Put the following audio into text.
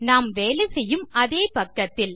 நாம் வேலை செய்யும் அதே பக்கத்தில்